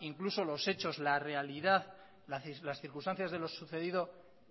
incluso los hechos la realidad las circunstancias de lo sucedido